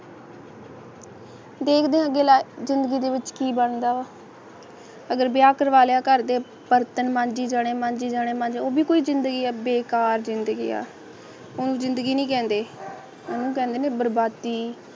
ਦੇਖਦੇ ਆ ਅੱਗੇ ਜਿੰਦਗੀ ਦੇ ਵਿੱਚ ਕੀ ਬਣਦਾ ਅਗਰ ਵਿਆਹ ਕਰਵਾ ਲਿਆ ਘਰ ਦੇ ਬਰਤਨ ਮਾਂਜਣੇ ਮੰਨਿ ਜਾਣੈ ਮਨਿ ਕੋਇ ਜ਼ਿੰਦਗੀ ਅਧਿਕਾਰ ਦਿੱਤਾ ਗਿਆ ਹੁਣ ਜਿੰਦਗੀ ਨਹੀ ਕਹਿੰਦੇ ਉਨਹੂ ਕਹਿੰਦੇ ਨੇ ਬਰਬਾਦੀ